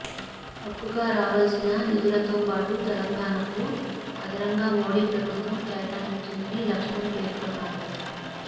హక్కుగా రావాల్సిన నిధులతో పాటు తెలంగాణకు అదనంగా మోడీ ప్రభుత్వం కేటాయించిందని లక్ష్మన్ పేర్కొన్నారు